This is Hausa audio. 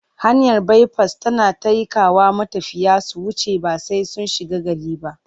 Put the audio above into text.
Hanyar baifas tana taikawa matafiya su wuce ba sai sun shiga gari ba.